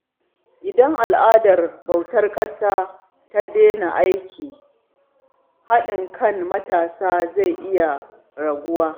Idan al’adar bautar ƙasa ta daina aiki, haɗin kan matasa zai iya raguwa.